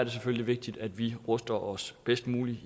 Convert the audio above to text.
selvfølgelig vigtigt at vi ruster os bedst muligt